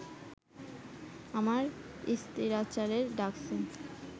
আমার স্তিরাচারে ডাকছে